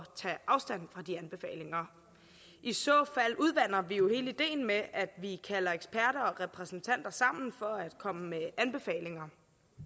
tage afstand fra de anbefalinger i så fald udvander vi jo hele ideen med at vi kalder eksperter og repræsentanter sammen for at komme med anbefalinger